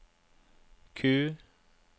Q